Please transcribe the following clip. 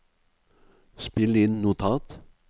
spill inn notat